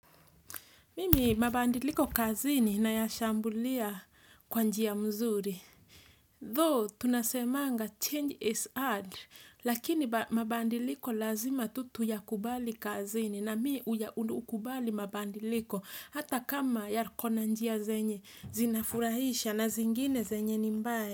Mimi mabadiliko kazini nayashambulia kwa njia mzuri. Though tunasemanga change is hard, lakini mabadiliko lazima tu tuyakubali kazini na mimi huya hukubali mabadiliko hata kama ya kona njia zenye zinafurahisha na zingine zenye ni mbaya.